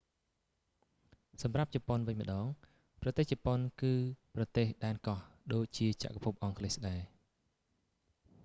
សម្រាប់ជប៉ុនវិញម្ដង ប្រទេសជប៉ុនគឺប្រទេសដែនកោះ ដូចជាចក្រភពអង់គ្លេសដែរ